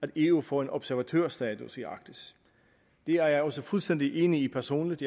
at eu får en observatørstatus i arktis det er jeg også fuldstændig enig i personligt